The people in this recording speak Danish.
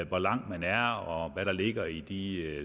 hvor langt man er og hvad der ligger i de